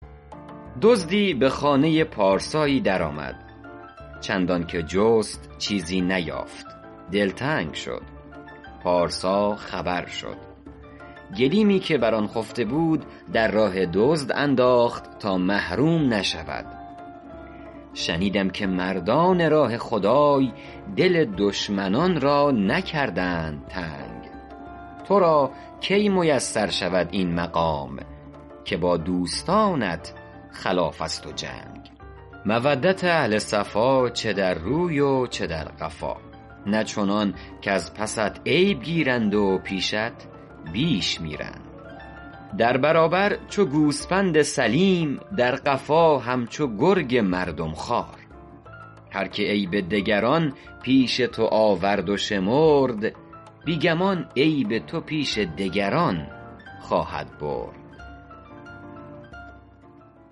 دزدی به خانه پارسایی در آمد چندان که جست چیزی نیافت دلتنگ شد پارسا خبر شد گلیمی که بر آن خفته بود در راه دزد انداخت تا محروم نشود شنیدم که مردان راه خدای دل دشمنان را نکردند تنگ تو را کی میسر شود این مقام که با دوستانت خلاف است و جنگ مودت اهل صفا چه در روی و چه در قفا نه چنان کز پست عیب گیرند و پیشت بیش میرند در برابر چو گوسپند سلیم در قفا همچو گرگ مردم خوار هر که عیب دگران پیش تو آورد و شمرد بی گمان عیب تو پیش دگران خواهد برد